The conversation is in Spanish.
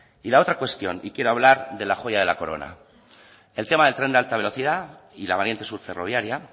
y la otra cuestión y quiero hablar de la joya de la corona el tema del tren de alta velocidad y la variante sur ferroviaria